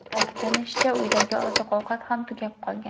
Ta’kidlanishicha, uydagi oziq-ovqat ham tugab qolgan.